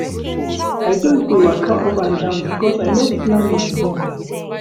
I just dey waka up and down because I no plan my day well.